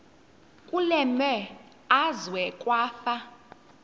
kule meazwe kwafa